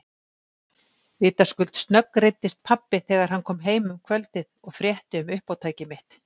Vitaskuld snöggreiddist pabbi þegar hann kom heim um kvöldið og frétti um uppátæki mitt.